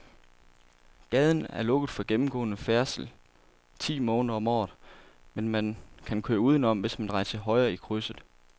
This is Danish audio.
Gaden er lukket for gennemgående færdsel ti måneder om året, men man kan køre udenom, hvis man drejer til højre i krydset.